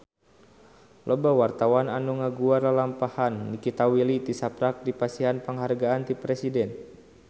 Loba wartawan anu ngaguar lalampahan Nikita Willy tisaprak dipasihan panghargaan ti Presiden